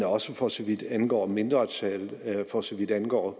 også for så vidt angår mindretal og for så vidt angår